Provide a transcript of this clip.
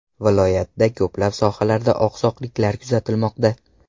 Viloyatda ko‘plab sohalarda oqsoqliklar kuzatilmoqda.